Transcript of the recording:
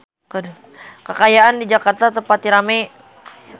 Kaayaan di Jakarta teu pati rame